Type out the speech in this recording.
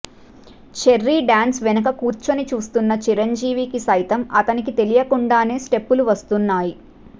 cherry dance వెనుక కూర్చొని చూస్తున్న చిరంజీవికి సైతం అతనికి తెలియకుండానే స్టెప్పులు వస్తున్నాయ్